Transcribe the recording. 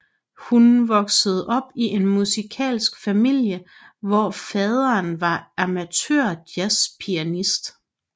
Hun voksede op i en musikalsk familie hvor faderen var amatørjazzpianist